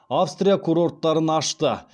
австрия курорттарын ашты